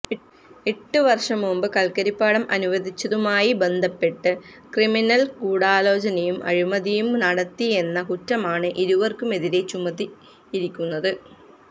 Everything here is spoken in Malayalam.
എട്ട് വര്ഷം മുമ്പ് കല്ക്കരിപ്പാടം അനുവദിച്ചതുമായി ബന്ധപ്പെട്ട് ക്രിമിനല് ഗൂഢാലോചനയും അഴിമതിയും നടത്തിയെന്ന കുറ്റമാണ് ഇരുവര്ക്കുമെതിരെ ചുമത്തിയിരിക്കുന്നത്